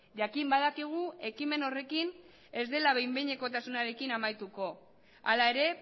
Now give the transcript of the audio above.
jakin badakigu ekimen horrekin ez dela behin behinekotasunarekin amaituko hala ere